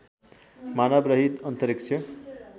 मानव रहित अन्तरिक्ष